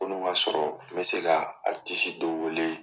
N'olu ma sɔrɔ, n be se ka dɔ wele